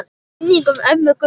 Minning um ömmu Gummu.